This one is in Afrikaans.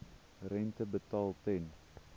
rente betaal ten